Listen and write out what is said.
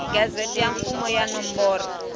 gazette ya mfumo ya nomboro